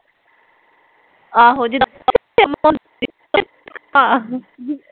ਆਹੋ